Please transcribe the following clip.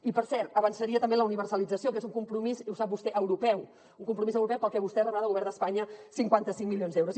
i per cert avançaria també en la universalització que és un compromís i ho sap vostè europeu un compromís europeu pel que vostè rebrà del govern d’espanya cinquanta cinc milions d’euros